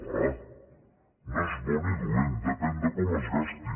ah no és bo ni dolent depèn de com es gasti